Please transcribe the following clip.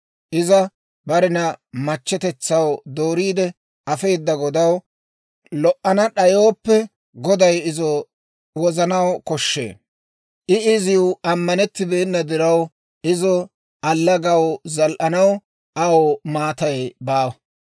Iza barena machchetetsaw dooriide afeedda godaw lo"ana d'ayooppe, goday izo wozissanaw koshshee. I iziw ammanettibeenna diraw, izo allagaw zaal"anaw aw maatay baawa.